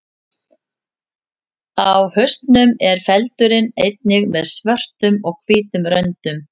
Á hausnum er feldurinn einnig með svörtum og hvítum röndum.